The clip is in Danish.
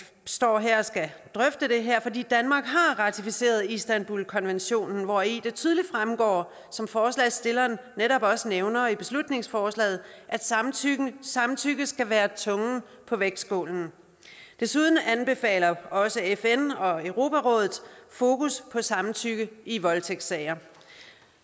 står her og skal drøfte det her fordi danmark har ratificeret istanbulkonventionen hvori det tydeligt fremgår som forslagsstilleren netop også nævner i beslutningsforslaget at samtykke samtykke skal være tungen på vægtskålen desuden anbefaler også fn og europarådet fokus på samtykke i voldtægtssager